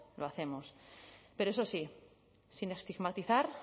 lo hacemos pero eso sí sin estigmatizar